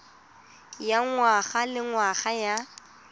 ya ngwaga le ngwaga ya